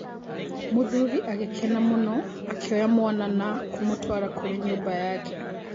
Mũthuri agĩkena mũno akĩoya mwana na kũmũtwara kũrĩ nyũmba yake.